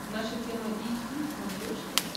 наша тема эйч ди на смотрешке